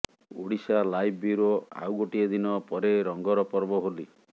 Odisha live bureau ଆଉ ଗୋଟିଏ ଦିନ ପରେ ରଙ୍ଗର ପର୍ବ ହୋଲି